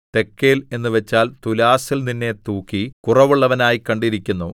തെക്കേൽ എന്നുവച്ചാൽ തുലാസിൽ നിന്നെ തൂക്കി കുറവുള്ളവനായി കണ്ടിരിക്കുന്നു